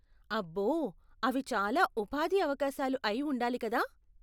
అబ్బో! అవి చాలా ఉపాధి అవకాశాలు అయి ఉండాలి కదా.